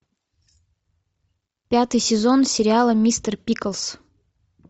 пятый сезон сериала мистер пиклз